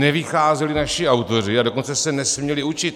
Nevycházeli naši autoři, a dokonce se nesměli učit.